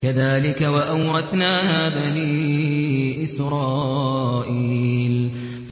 كَذَٰلِكَ وَأَوْرَثْنَاهَا بَنِي إِسْرَائِيلَ